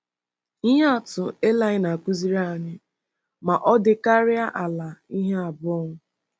Ihe atụ eli na-akụziri anyị ma ọ dịkarịa ala ihe abụọ.